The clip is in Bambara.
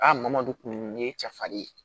madu kun ye cɛ farin ye